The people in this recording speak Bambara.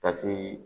Ka se